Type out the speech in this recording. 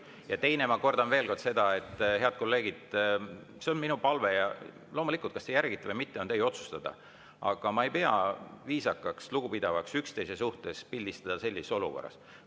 Ja teiseks, ma kordan veel kord seda, head kolleegid – see on minu palve ja loomulikult, kas te järgite või mitte, on teie otsustada –, et ma ei pea viisakaks ega lugupidavaks üksteise suhtes pildistada sellises olukorras.